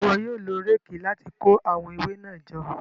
Ṣe iwọ yóò lo réèkì láti ko awọn ewe náà jọ?